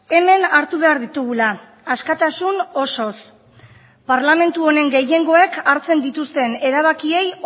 hemen hartu behar ditugula askatasun osoz parlamentu honen gehiengoek hartzen dituzten erabakiei